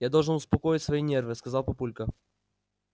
я должен успокоить свои нервы сказал папулька